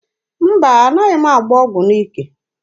Mba, na-anaghị m agba ọgụ n'ike.